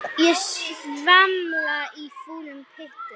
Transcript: Ég svamla í fúlum pytti.